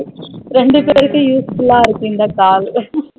ரெண்டு பேருக்கும் useful லா இருக்கும் இந்த call